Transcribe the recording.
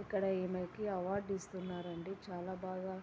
ఇక్కడ ఈయనకి అవార్డు ఇస్తున్నారు అండి. చాలా బాగా